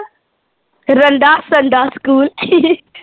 ਰੰਡਾ ਸੰਡਾ ਸਕੂਲ